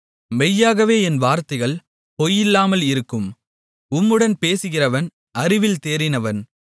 மெய்யாகவே என் வார்த்தைகள் பொய்யில்லாமல் இருக்கும் உம்முடன் பேசுகிறவன் அறிவில் தேறினவன்